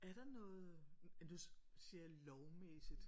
Er der noget nu siger jeg lovmæssigt